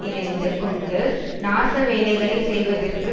இணைந்து கொண்டு நாச வேலைகளை செய்வதற்கு